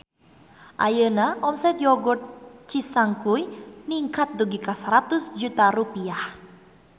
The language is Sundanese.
Ayeuna omset Yogurt Cisangkuy ningkat dugi ka 100 juta rupiah